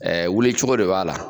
Ɛɛ wulicogo de b'a la